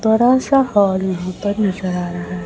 थोड़ा सा हॉल यहां पर नजर आ रहा है।